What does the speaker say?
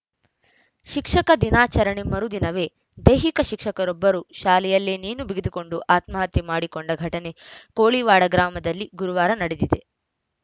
ಶಿಕ್ಷಕ ದಿನಾಚರಣೆ ಮರುದಿನವೇ ದೈಹಿಕ ಶಿಕ್ಷಕರೊಬ್ಬರು ಶಾಲೆಯಲ್ಲೇ ನೇಣು ಬಿಗಿದುಕೊಂಡು ಆತ್ಮಹತ್ಯೆ ಮಾಡಿಕೊಂಡ ಘಟನೆ ಕೋಳಿವಾಡ ಗ್ರಾಮದಲ್ಲಿ ಗುರುವಾರ ನಡೆದಿದೆ